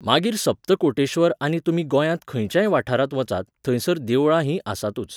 मागीर सप्तकोटेश्वर, आनी तुमी गोंयांत खंयच्याय वाठारांत वचात, थंयसर देवळां हीं आसातूच.